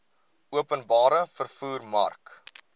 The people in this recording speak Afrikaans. openbare vervoer mark